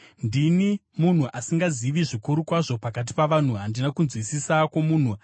“Ndini munhu asingazivi zvikuru kwazvo pakati pavanhu; handina kunzwisisa kwomunhu.